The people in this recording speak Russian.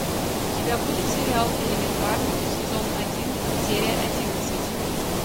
у тебя будет сериал элементарно сезон один серия одиннадцать